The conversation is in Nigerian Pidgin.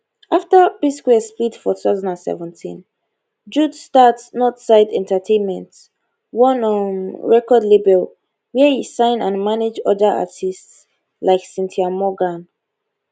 afta psquare split for 2017 jude start northside entertainment one um record label wia e sign and manage oda artists like cynthia morgan